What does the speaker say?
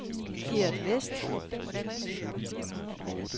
Geert West